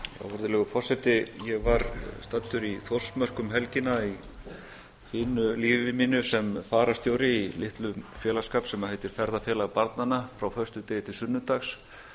virðulegur forseti ég var staddur í þórsmörk um helgina í fínu lífi mínu sem fararstjóri í litlum félagsskap sem heitir félag barnanna frá föstudegi til sunnudags